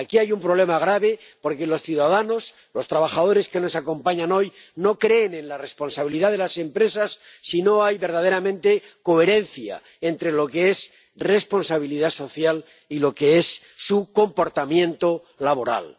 Aquí hay un problema grave, porque los ciudadanos, los trabajadores que nos acompañan hoy no creen en la responsabilidad de las empresas si no hay verdaderamente coherencia entre lo que es responsabilidad social y lo que es su comportamiento laboral.